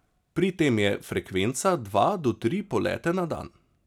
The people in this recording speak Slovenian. Pri tem je frekvenca dva do tri polete na dan.